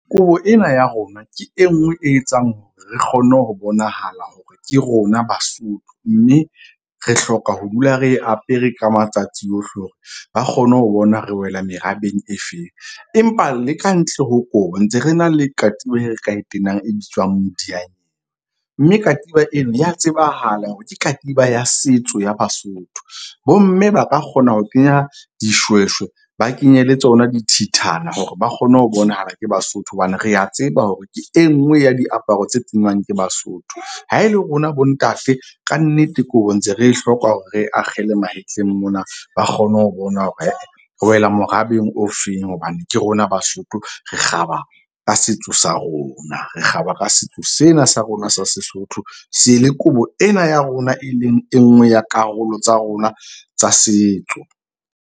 Kobo ena ya rona ke e nngwe e etsang hore re kgone ho bonahala hore ke rona Basotho. Mme re hloka ho dula re apere ka matsatsi ohle hore ba kgone ho bona re wela merabeng e feng. Empa le kantle ho kobo ntse re na le katiba e re ka e tenang e bitswang . Mme katiba eno ya tsebahala hore ke katiba ya setso ya Basotho. Bomme ba ka kgona ho kenya dishweshwe ba kenye le tsona dithithana hore ba kgone ho bonahala ke Basotho. Hobane re a tseba hore ke e nngwe ya diaparo tse kenywang ke Basotho. Ha e le rona bontate, kannete kobo ntse re e hloka hore re akgela mahetleng mona, ba kgone ho bona hore re wela morabeng o feng. Hobane ke rona Basotho re kgaba ka setso sa rona, re kgaba ka setso sena sa rona sa Sesotho se le kobo ena ya rona e leng e nngwe ya karolo tsa rona tsa setso.